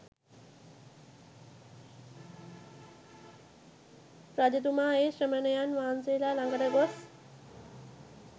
රජතුමා ඒ ශ්‍රමණයන් වහන්සේලා ළඟට ගොස්